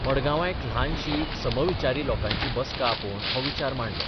मडगांवां एक लहानशी समविचारी लोकांची बसका आपोवन हो विचार मांडलो.